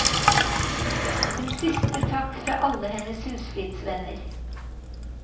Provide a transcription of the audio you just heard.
En siste takk fra alle hennes husflidsvenner.